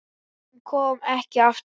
Hún kom ekki aftur heim.